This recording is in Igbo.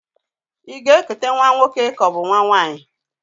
Ị ga-ekute nwa nwoke kaọbụ nwa nwaanyị?